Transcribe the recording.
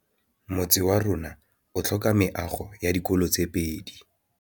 Motse warona o tlhoka meago ya dikolô tse pedi.